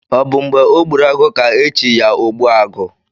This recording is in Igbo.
Ọ bụ mgbe ọ gburu agụ ka e chi ya ogbu agụ?